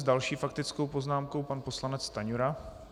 S další faktickou poznámkou pan poslanec Stanjura.